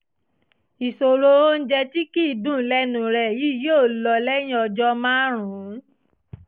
ìṣòro oúnjẹ tí kì í dùn lẹ́nu rẹ yìí yóò lọ lẹ́yìn ọjọ́ márùn-ún